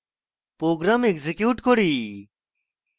program execute করি